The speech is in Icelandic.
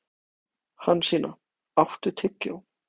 Hansína, áttu tyggjó?